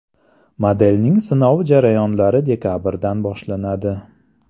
Modelning sinov jarayonlari dekabrdan boshlanadi.